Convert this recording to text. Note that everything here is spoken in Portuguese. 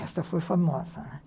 Esta foi famosa, né?